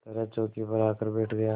तरह चौकी पर आकर बैठ गया